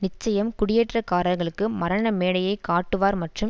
நிச்சயம் குடியேற்றக்காரர்களுக்கு மரண மேடையை கட்டுவார் மற்றும்